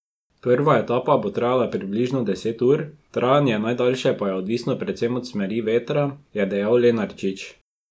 Prva etapa bo trajala približno deset ur, trajanje najdaljše pa je odvisno predvsem od smeri vetra, je dejal Lenarčič.